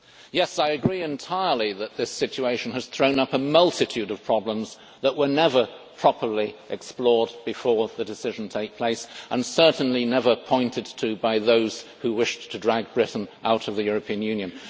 Yes, I agree entirely that this situation has thrown up a multitude of problems that were never properly explored before the decision took place, and certainly never pointed to by those who wished to drag Britain out of the European Union.